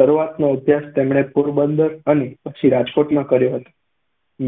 શરૂઆતનો અભ્યાસ તેમણે પોરબંદર અને પછી રાજકોટમાં કર્યો હતો.